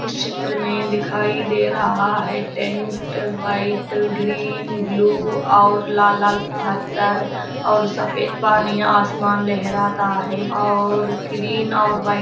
इस चित्र में दिखाई दे रहा है टेंट व्हाइट ग्रीन ब्लू और लाल-लाल पत्थर और सफेद पनियाँ आसमान लहराता है ओर ग्रीन ओर--